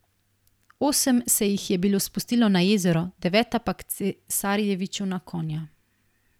Osem se jih je bilo spustilo na jezero, deveta pa k cesarjeviču na konja.